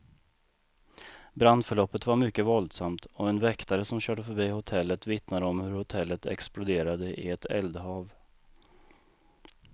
Brandförloppet var mycket våldsamt, och en väktare som körde förbi hotellet vittnar om hur hotellet exploderade i ett eldhav.